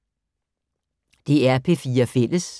DR P4 Fælles